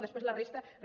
després la resta res